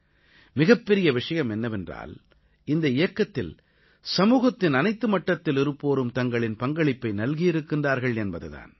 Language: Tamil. மிகப்பெரிய விஷயம் என்னவென்றால் இந்த இயக்கத்தில் சமூகத்தின் அனைத்து மட்டத்தில் இருப்போரும் தங்களின் பங்களிப்பை நல்கியிருக்கின்றார்கள் என்பது தான்